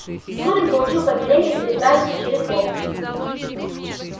зурин получил повеление переправиться через волгу